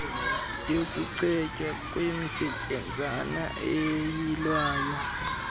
yokucetywa kwemisetyenzana eyilwayo